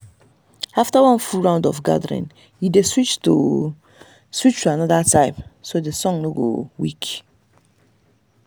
after one full round of gathering e dey switch to switch to another type so the soil no go weak.